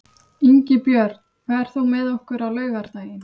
Ingibjörn, ferð þú með okkur á laugardaginn?